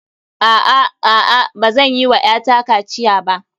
A'a, a'a. Bazan yi wa ƴata kaciya ba.